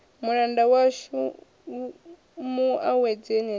mulanda washu mu awedzeni henefha